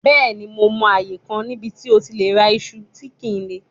Bẹẹni Mo mọ aaye kan nibiti o ti le ra iṣu kile